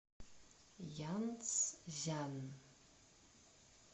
янцзян